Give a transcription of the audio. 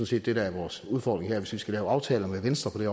set det der er vores udfordring her hvis vi skal lave aftaler med venstre på det